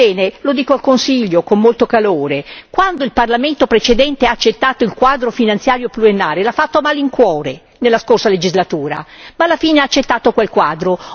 Ebbene, lo dico al Consiglio con molto calore quando il Parlamento precedente ha accettato il quadro finanziario pluriennale l'ha fatto a malincuore, nella scorsa legislatura, ma alla fine ha accettato quel quadro.